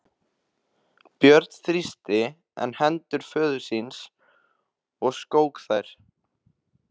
Björn þrýsti enn hendur föður síns og skók þær.